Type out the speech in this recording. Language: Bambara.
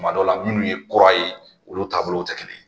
Kuma dɔw la munnu ye kura ye, olu taabolow tɛ kelen ye.